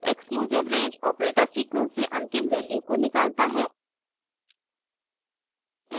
exclusive range operator sequence से अंतिम value को निकालता है